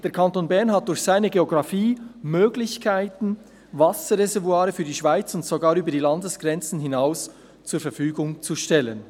Der Kanton Bern hat durch seine Geografie Möglichkeiten, Wasserreservoire für die Schweiz, und sogar über die Landesgrenzen hinaus, zur Verfügung zu stellen.